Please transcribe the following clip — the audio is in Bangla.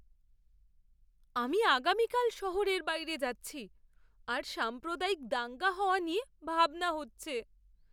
আমি আগামীকাল শহরের বাইরে যাচ্ছি, আর সাম্প্রদায়িক দাঙ্গা হওয়া নিয়ে ভাবনা হচ্ছে।